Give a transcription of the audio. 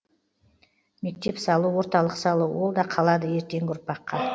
мектеп салу орталық салу ол да қалады ертеңгі ұрпаққа